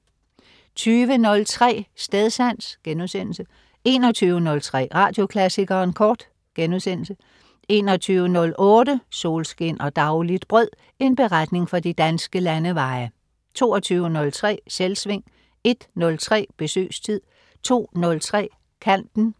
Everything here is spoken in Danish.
20.03 Stedsans* 21.03 Radioklassikeren Kort* 21.08 Solskin og dagligt brød. En beretning fra de danske landeveje* 22.03 Selvsving* 01.03 Besøgstid* 02.03 Kanten*